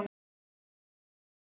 Elsku Hjalti.